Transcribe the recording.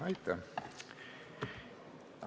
Aitäh!